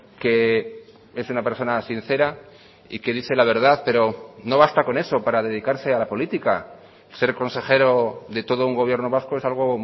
que es una persona sincera y que dice la verdad pero no basta con eso para dedicarse a la política ser consejero de todo un gobierno vasco es algo